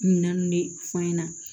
Minɛn ninnu ne fa ɲɛna